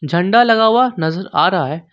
झंडा लगा हुआ नजर आ रहा है।